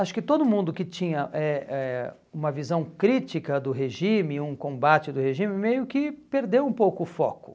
Acho que todo mundo que tinha eh eh uma visão crítica do regime, um combate do regime, meio que perdeu um pouco o foco.